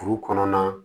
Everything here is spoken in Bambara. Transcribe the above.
Kuru kɔnɔna